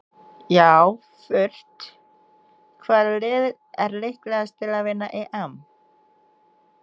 Já fullt Hvaða lið er líklegast til að vinna EM?